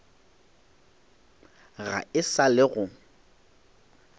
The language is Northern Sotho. ga e sa le go